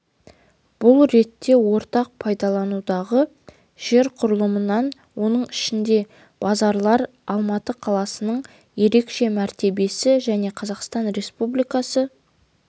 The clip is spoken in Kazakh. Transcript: бұл ретте ортақ пайдаланудағы жер құрамынан оның ішінде базарлар алматы қаласының ерекше мәртебесі және қазақстан республикасы